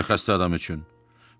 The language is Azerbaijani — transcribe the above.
Xüsusilə xəstə adam üçün.